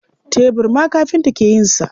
Tebur ma kafinta ke yin sa.